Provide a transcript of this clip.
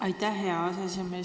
Aitäh, hea aseesimees!